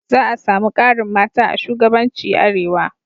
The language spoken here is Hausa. Za a samu ƙarin mata a shugabanci Arewa